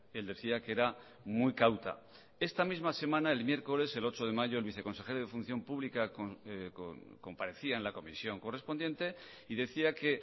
él decía que era muy cauta esta misma semana el miércoles el ocho de mayo el viceconsejero de función pública comparecía en la comisión correspondiente y decía que